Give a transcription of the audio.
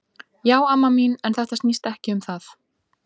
Já amma mín, en þetta snýst ekki um það.